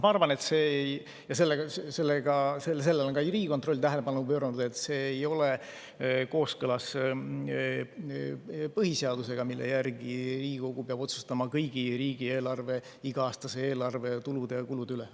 Ma arvan – sellele on ka Riigikontroll tähelepanu pööranud –, et see ei ole kooskõlas põhiseadusega, mille järgi Riigikogu peab otsustama iga-aastase riigieelarve kõigi tulude ja kulude üle.